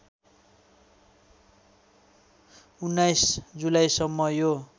१९ जुलाईसम्म यो